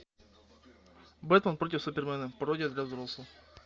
бэтмен против супермена пародия для взрослых